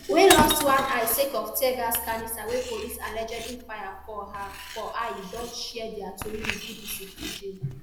wey lost one eye sake of teargas cannister wey police allegedly fire for her for eye don share dia tori wit bbc pidgin